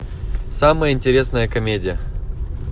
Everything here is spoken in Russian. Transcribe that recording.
самая интересная комедия